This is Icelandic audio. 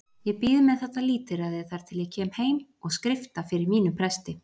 Ég bíð með þetta lítilræði þar til ég kem heim og skrifta fyrir mínum presti.